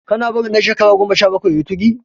Kana barin dan shekara goma sha bakwai yayi tuki?